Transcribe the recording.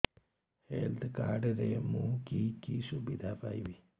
health card ରେ ମୁଁ କି କି ସୁବିଧା ପାଇବି